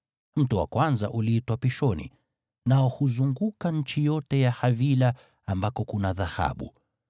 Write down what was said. Mto wa kwanza uliitwa Pishoni, nao huzunguka nchi yote ya Havila ambako kuna dhahabu.